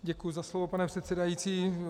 Děkuji za slovo, pane předsedající.